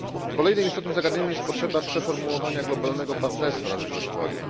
Kolejnym istotnym zagadnieniem jest potrzeba przeformułowania globalnego partnerstwa na rzecz rozwoju.